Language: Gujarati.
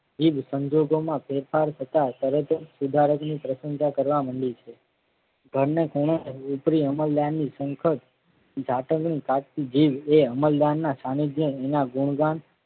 જીભ સંજોગોમાં ફેરફાર થતા તરત જ સુધારકની પ્રશંસા કરવા મંડી છે. ઘરને ખૂણે વિપરી અમલદારની સંખત જાતકની કાઢતી જીભ એ અમલદારના છાનીધ્ય એના ગુણગાન